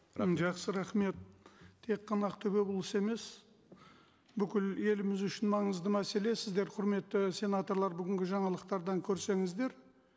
жақсы рахмет тек қана ақтөбе облысы емес бүкіл еліміз үшін маңызды мәселе сіздер құрметті сенаторлар бүгінгі жаңалықтардан көрсеңіздер